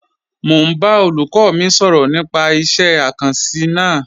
Mọ̀ n bá olúkọ́ mi sọrọ̀ nípà ìṣẹ̀ àkànsí náà.